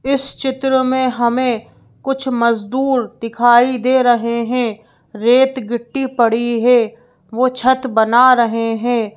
इस चित्र में हमें कुछ मजदूर दिखाई दे रहे हैं रेत गिट्टी पड़ी है वो छत बना रहे हैं।